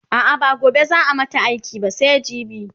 a'a ba gobe zaa mata iki ba sai jibi